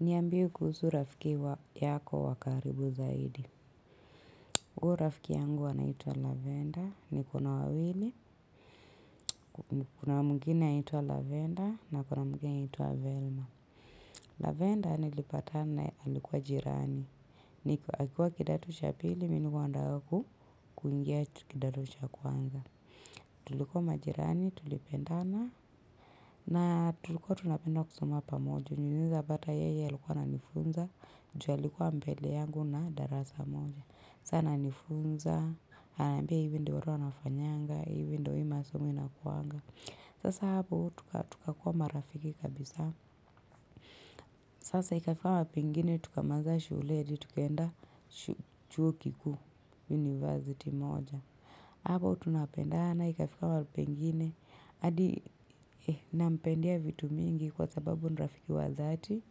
Niambie kuhusu rafiki wa yako wa karibu zaidi. Huu rafiki yangu anaitwa lavender, niko na wawili, kuna mwingine anaitwa lavender, na kuna mwingine anaitwa velma. Lavenda nilipatana na yeye alikuwa jirani. Akiwa kidato cha pili, mimi nilikuwa nataka kuingia kidato cha kwanza. Tulikuwa majirani, tulipendana na tulikuwa tunapenda kusoma pamoja. Unaeza pata yeye alikuwa ananifunza. Ju alikuwa mbele yangu na darasa moja. Saa ananifunza. Ananiambia hivi ndo watu wanafanyanga. Hivi ndo hii masomo inakuanga. Sasa hapo tukakuwa marafiki kabisa. Sasa ikafika wapingine tukamaliza shule hadi tukaenda chuo kikuu university moja. Hapo tunapendana ikafika mahali pengins. Adi nampendea vitu mingi kwa sababu ni rafiki wazati.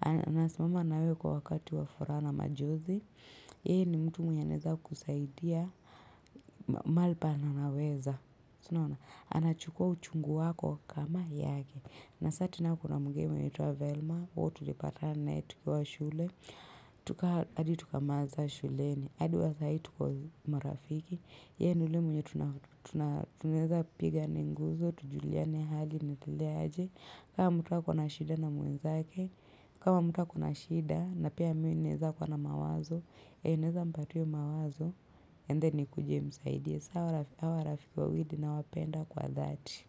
Anasimama nawe kwa wakati wa furaha na majozi. Ye ni mtu mwenye anaeza kusaidia mahali penye anaweza anachukua uchungu wako kama yake. Na sa tena kuna mwingine anayeitwa Velma huyu tulipatana na yeye tukiwa shule hadi tukamaliza shuleni adi wa sai tuko marafiki. Ye ni ule mwenye tuneza piga ninguzo. Tujuliane hali ninaendelea aje. Kama mtu akona shida na mwenzake kama mtu akona shida na pia mi naeza kuwa na mawazo E ineza mpatuyo mawazo. Endeni kujie msaidi. Sawa rafiki wawidi na wapenda kwa that.